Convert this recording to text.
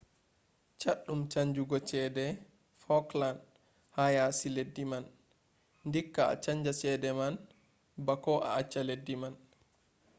chaddum chanjugo chede falkland ha yasi leddi man dikka a chanja chede man bako a acca leddi man